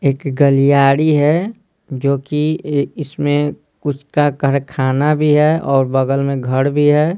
एक गलियाड़ी है जोकि इसमें कुछ का करखाना भी है और बगल में घर भी है।